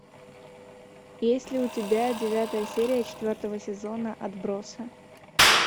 есть ли у тебя девятая серия четвертого сезона отбросы